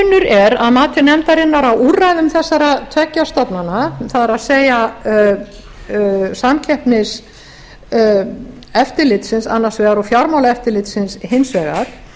er að mati nefndarinnar á úrræðum þessara tveggja stofnana það er samkeppniseftirlitsins annars vegar og fjármálaeftirlitsins hins vegar